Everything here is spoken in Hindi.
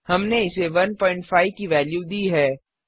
हमने एसे 15 की वेल्यू दी है